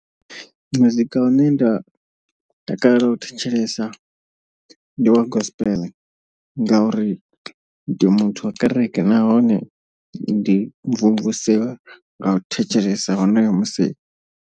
Muzika une nda takalela u thetshelesa ndi wa gospel. Ngauri ndi muthu wa kereke nahone ndi mvumvusea nga u thetshelesa honoyo musi.